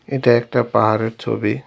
এটা একটা পাহাড়ের ছবি।